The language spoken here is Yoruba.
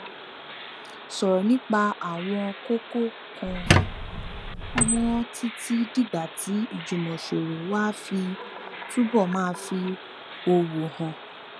sòrò nípa àwọn kókó kan mó títí dìgbà tí ìjùmòsòrò wa á fi túbò máa fi òwò hàn